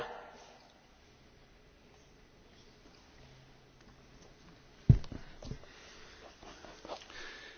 Húsz évvel ezelőtt indult a temesvári felkelés, mely a Ceauşescu dikatúra